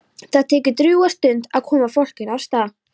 Það tekur drjúga stund að koma fólkinu af stað.